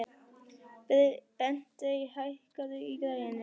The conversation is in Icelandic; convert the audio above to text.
Bentey, hækkaðu í græjunum.